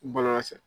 Bɔlɔlɔ sira fɛ